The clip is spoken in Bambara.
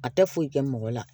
A tɛ foyi kɛ mɔgɔ la